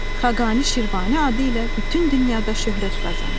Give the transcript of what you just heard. Xaqani Şirvani adı ilə bütün dünyada şöhrət qazanır.